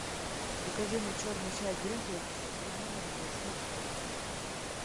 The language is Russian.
закажи мне черный чай гринфилд с лимоном большую упаковку